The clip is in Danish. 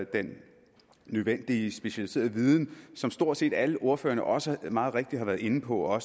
den nødvendige specialiserede viden som stort set alle ordførerne også meget rigtigt har været inde på og at